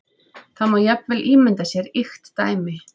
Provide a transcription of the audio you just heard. Það má jafnvel ímynda sér ýkt dæmi.